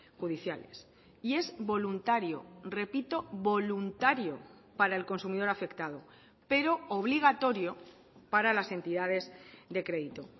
judiciales y es voluntario repito voluntario para el consumidor afectado pero obligatorio para las entidades de crédito